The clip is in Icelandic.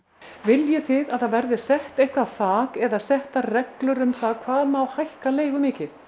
viljið þið að það verði sett eitthvað þak eða settar reglur um það hvað má hækka leigu mikið